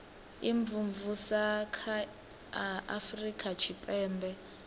imvumvusa kha a afurika tshipembe